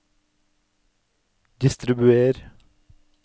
distribuer